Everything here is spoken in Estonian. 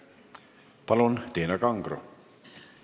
Palun, Tiina Kangro!